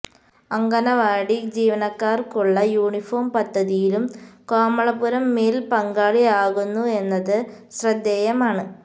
അങ്കണവാടി ജീവനക്കാര്ക്കുള്ള യൂണിഫോം പദ്ധതിയിലും കോമളപുരം മില് പങ്കാളിയാകുന്നു എന്നത് ശ്രദ്ധേയമാണ്